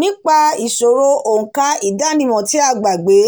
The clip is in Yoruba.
nípa ìṣòro òǹkà ìdánimọ̀ tí a gbàgbé